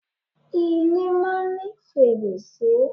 Ilé máa ń ní fèrèsé.